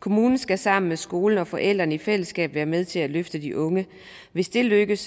kommunen skal sammen med skolen og forældrene i fællesskab være med til at løfte de unge hvis det lykkes